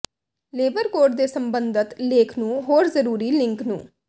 labour code ਦੇ ਸੰਬੰਧਤ ਲੇਖ ਨੂੰ ਹੋਰ ਜ਼ਰੂਰੀ ਲਿੰਕ ਨੂੰ